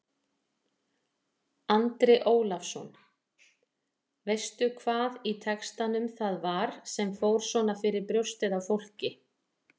Andri Ólafsson: Veistu hvað í textanum það var sem fór svona fyrir brjóstið á fólki?